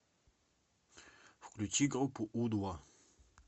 включи группу у два